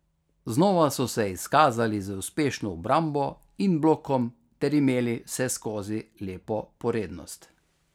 Znova so se izkazali z uspešno obrambo in blokom ter imeli vseskozi lepo porednost.